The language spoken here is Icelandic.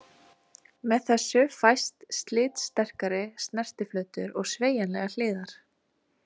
Með þessu fæst slitsterkari snertiflötur og sveigjanlegar hliðar.